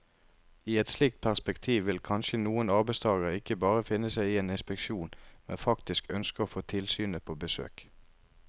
I et slikt perspektiv vil kanskje noen arbeidstagere ikke bare finne seg i en inspeksjon, men faktisk ønske å få tilsynet på besøk.